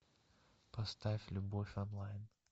поставь любовь онлайн